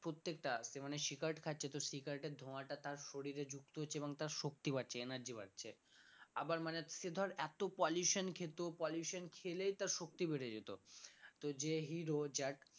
মানে cigarette খাচ্ছে তো cigarette এর ধোয়াটা তার শরীরে যুক্ত হচ্ছে এবং তার শক্তি বাড়ছে energy বাড়ছে আবার মানে সে ধর এত pollution খেত pollution খেলেই তার শক্তি বেড়ে যেত তো যে hero যার